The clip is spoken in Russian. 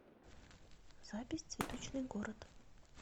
запись цветочный город